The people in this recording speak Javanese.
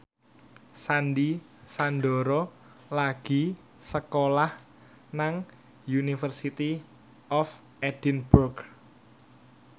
Sandy Sandoro lagi sekolah nang University of Edinburgh